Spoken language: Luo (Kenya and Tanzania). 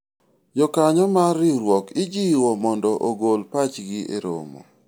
jokanyo mar riwruok ijiwo mondo ogol pachgi e romo